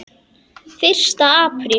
Fyrsta apríl.